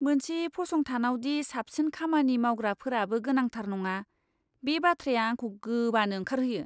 मोनसे फसंथानावदि साबसिन खामानि मावग्राफोराबो गोनांथार नङा, बे बाथ्राया आंखौ गोबानो ओंखारहोयो।